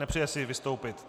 Nepřeje si vystoupit.